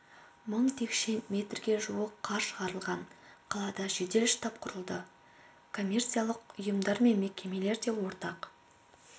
мың текше метрге жуық қар шығарылған қалада жедел штаб құрылды коммерциялық ұйымдар мен мекемелер де ортақ